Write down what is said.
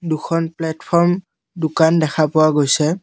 দুখন প্লাটফৰম দোকান দেখা পোৱা গৈছে।